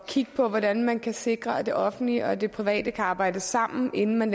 kigge på hvordan man kan sikre at det offentlige og det private kan arbejde sammen inden man